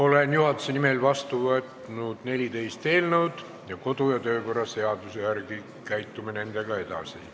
Olen juhatuse nimel vastu võtnud 14 eelnõu ning käitume nendega edasi kodu- ja töökorra seaduse järgi.